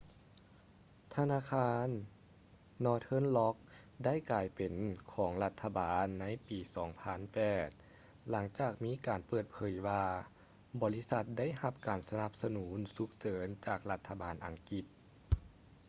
ທະນາຄານ northern rock ໄດ້ກາຍເປັນຂອງລັດຖະບານໃນປີ 2008 ຫລັງຈາກມີການເປີດເຜີຍວ່າບໍລິສັດໄດ້ຮັບການສະໜັບສະໜູນສຸກເສີນຈາກລັດຖະບານອັງກິດ